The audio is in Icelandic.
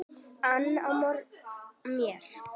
ann á mér.